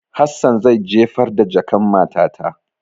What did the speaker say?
Hassan zai jefar da jakan matata.